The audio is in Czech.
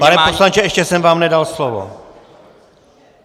Pane poslanče, ještě jsem vám nedal slovo.